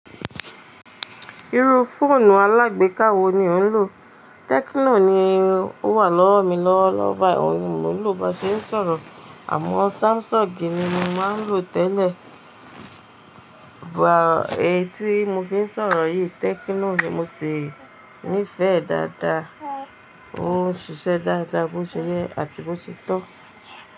Irú fóònù alágbéka wo ni ò ń lò? Tecno ni ó wà lọ́wọ́ mi lọ́wọ́lọ́wọ́ báyìí, òun ni mo ń lò bá ṣe ń sọ̀rọ̀, àmọ́ Samsung ni mo máa ń lò tẹ́lẹ̀. Bà, èyí tí mo fi ń sọ̀rọ̀ yìí, Tecno ni mo sì níìfẹ̀ẹ́ dáadáa. Ó ń ṣiṣẹ́ dáadáa, bó ṣe yẹ́ àti bó ṣe tọ́.